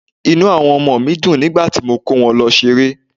Inú àwọn ọmọ mi dùn nígbà tí mo kó wọn lọ ṣeré.